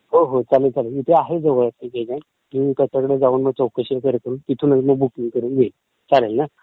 हो हो ...चालेल चालेल. इथे आहे एक एजंट जवळ त्याच्याकडे जाऊन मग चौकशी करतो तिथूनचं मग बुकींग करून येईन, चालेल ना?